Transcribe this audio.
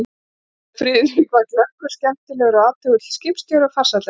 Friðrik var glöggur, skemmtilegur og athugull skipstjóri og farsæll eftir því.